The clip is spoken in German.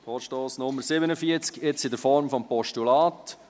Vorstoss zu Traktandum Nr. 47 , jetzt in der Form des Postulats.